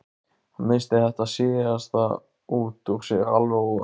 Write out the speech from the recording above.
Hann missti þetta síðasta út úr sér alveg óvart.